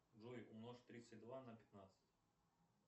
джой умножь тридцать два на пятнадцать